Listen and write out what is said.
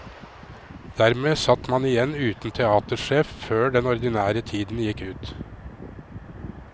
Dermed satt man igjen uten teatersjef før den ordinære tiden gikk ut.